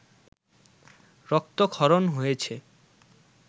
রক্তক্ষরণ হয়েছে